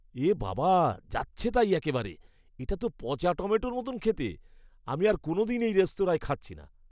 এ বাবা! যাচ্ছেতাই একেবারে! এটা তো পচা টমেটোর মতো খেতে, আমি আর কোনদিন এই রেস্তোরাঁয় খাচ্ছি না।